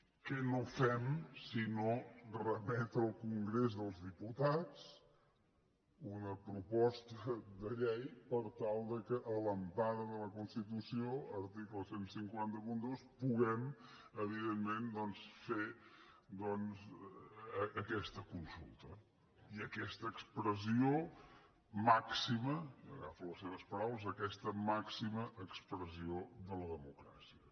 què no fem sinó remetre al congrés dels diputats una proposta de llei per tal que a l’empara de la constitució article quinze zero dos puguem evidentment fer aquesta consulta i aquesta i agafo les seves paraules màxima expressió de la democràcia